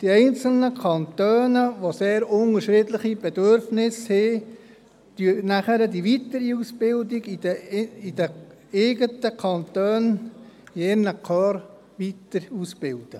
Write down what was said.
Die einzelnen Kantone, welche sehr unterschiedliche Bedürfnisse haben, übernehmen danach die weitere Ausbildung in ihren kantonalen Korps.